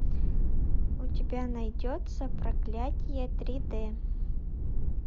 у тебя найдется проклятие три д